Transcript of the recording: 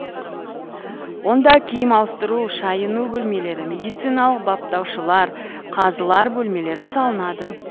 онда киім ауыстыру шайыну бөлмелері медициналық баптаушылар қазылар бөлмелері салынады